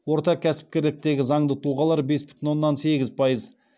орта кәсіпкерліктегі заңды тұлғалар бес бүтін оннан сегіз пайыз